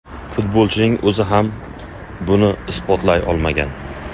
Futbolchining o‘zi ham buni isbotlay olmagan.